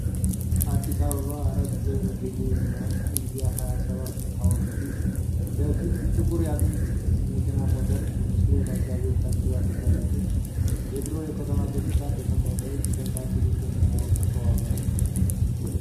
አዲስ አበባ፣ አራት ኪሎ በሚገኘው የመኢአዚያ ሃያ ሰባት ድል ሐውልት ፊት ለፊት ጥቁር የጥንት መኪና በሞተር ብስክሌት አጃቢዎች ታጅባ ትጓዛለች። የድሮው የከተማ ገጽታ በሰማይ ላይ በተንጣለሉ ደመናዎች የተዋበ ነው።